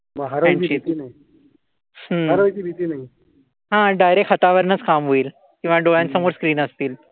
हा. डारेक्ट हातावरनच काम होईल. किंवा डोळ्यासमोर स्क्रीन असतील.